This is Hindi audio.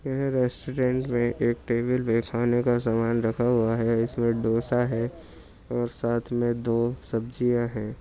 यह रेस्टोरेंट में एक टेबल पे खाने का सामान रखा हुआ है। इसमें डोसा है और साथ में दो सब्जियां हैं।